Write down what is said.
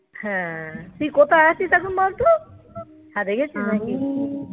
হ্যাঁ তুই কোথায় এখন আছিস বলত? ছাদে গেছিস নাকি?